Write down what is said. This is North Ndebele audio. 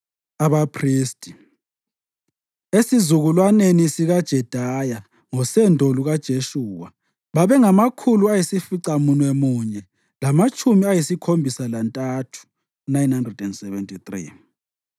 Abaphristi: esizukulwaneni sikaJedaya (ngosendo lukaJeshuwa) babengamakhulu ayisificamunwemunye lamatshumi ayisikhombisa lantathu (973),